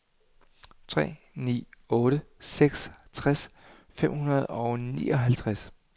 tre ni otte seks tres fem hundrede og nioghalvtreds